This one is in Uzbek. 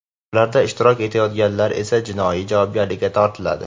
ularda ishtirok etayotganlar esa jinoiy javobgarlikka tortiladi.